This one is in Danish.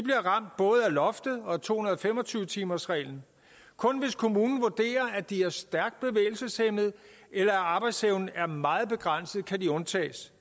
loftet og to hundrede og fem og tyve timersreglen kun hvis kommunen vurderer at de er stærkt bevægelseshæmmede eller at arbejdsevnen er meget begrænset kan de undtages